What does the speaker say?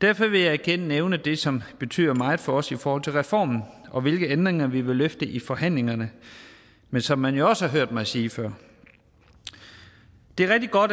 derfor vil jeg igen nævne det som betyder meget for os i forhold til reformen og hvilke ændringer vi vil løfte i forhandlingerne men som man jo også har hørt mig sige før det er rigtig godt